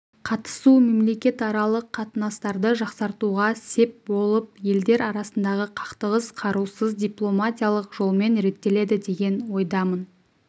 қатысуы мемлекетаралық қатынастарды жақсартуға сеп болып елдер арасындағы қақтығыс қарусыз дипломатиялық жолмен реттеледі деген ойдамын